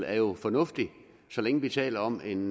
er jo fornuftig så længe vi taler om en